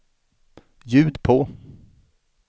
ljud på